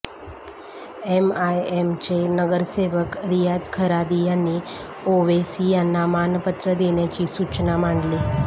एमआयएमचे नगरसेवक रियाज खरादी यांनी ओवेसी यांना मानपत्र देण्याची सूचना मांडली